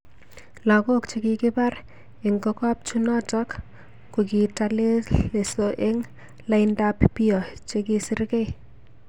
Lakok chekikipar eng kokopchunonotok, kokikatelelso eng laindap piio chekisirekei